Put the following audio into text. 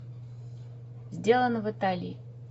сделано в италии